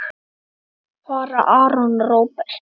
Fara Aron og Róbert?